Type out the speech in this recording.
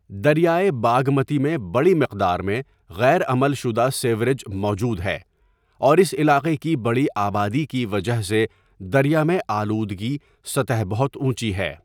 دریائے باگمتی میں بڑی مقدار میں غیر عمل شدہ سیوریج موجود ہے، اور اس علاقے کی بڑی آبادی کی وجہ سے دریا میں آلودگی سطح بہت اونچی ہے۔